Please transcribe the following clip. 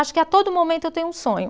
Acho que a todo momento eu tenho um sonho.